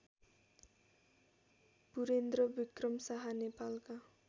पुरेन्द्रविक्रम शाह नेपालका